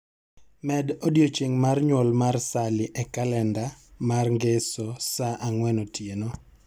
Med odiechieng' mar nyuol mar Sally e kalenda mar ngeso saa ang'wen otieno